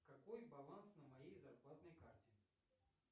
какой баланс на моей зарплатной карте